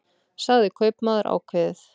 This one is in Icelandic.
sagði kaupmaður ákveðið.